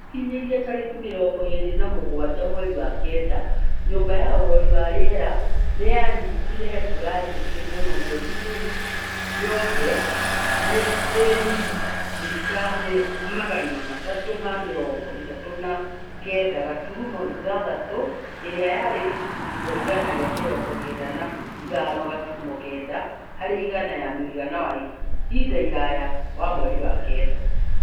Gũkinyĩria tarĩki mĩrongo ĩrĩ na mũgwanja mweri wa kenda , nyũmba ya ũrori wa rĩera nĩyanyitire mbura nyingĩ muno mweri-inĩ yothe ĩrĩ mirimita magana matatũ ma mĩrongo ĩtatũ na kenda gaturumo ithathatũ ĩrĩa yarĩ gĩcunjĩ kĩa igana rĩa mirongo kenda na ithano gaturumo kenda harĩ igana ya mũigana wa ihinda iraya wa mweri wa kenda